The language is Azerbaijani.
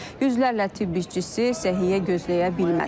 Yüzlərlə tibb işçisi səhiyyə gözləyə bilməz.